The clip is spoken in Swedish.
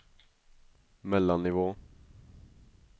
mellannivå